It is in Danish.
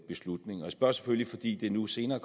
beslutning jeg spørger selvfølgelig fordi det nu senere